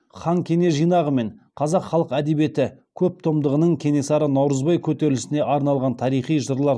хан кене жинағы мен қазақ халык әдебиеті көп томдығының кенесары наурызбай көтерілісіне арналған тарихи жырлар